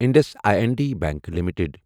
Indus I N D Bank limited